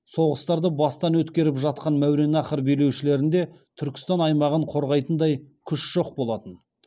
соғыстарды бастан өткеріп жатқан мәуереннахр билеушілерінде түркістан аймағын қорғайтындай күш жоқ болатын